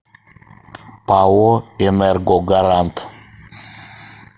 пао энергогарант